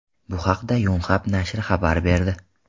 Bu haqda Yonhap nashri xabar berdi .